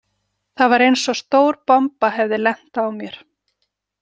Það var eins og stór bomba hefði lent á mér.